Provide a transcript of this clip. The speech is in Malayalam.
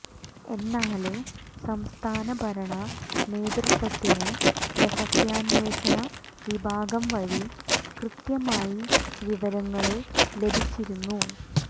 എന്നാല് സംസ്ഥാന ഭരണ നേതൃത്വത്തിന് രഹസ്യന്വേഷണ വിഭാഗം വഴി കൃത്യമായി വിവരങ്ങള് ലഭിച്ചിരുന്നു